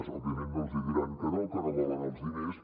òbviament no els diran que no que no volen els diners